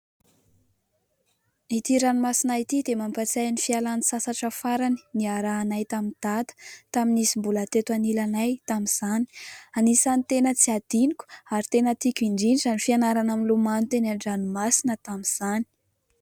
Ity ranomasina ity dia mampatsiahy ny fialan-tsasatra farany niarahanay tamin'i dada tamin'izy mbola teto anilanay tamin'izany. Anisany tena tsy hadiniko ary tena tiako indrindra ny fianarana milomano teny an-dranomasina tamin'izany.